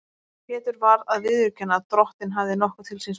Pétur varð að viðurkenna að Drottinn hafði nokkuð til síns máls.